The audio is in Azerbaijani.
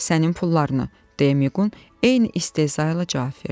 "Sənin pullarını," deyə Miqqun eyni istehza ilə cavab verdi.